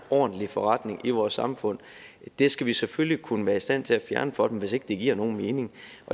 ordentlig forretning i vores samfund skal vi selvfølgelig kunne være i stand til at fjerne for dem hvis ikke det giver nogen mening